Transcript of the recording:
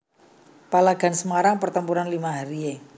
Palagan Semarang Pertempuran Lima Hari e